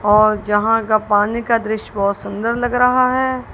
यहां का पानी का दृश्य बहुत सुंदर लग रहा है।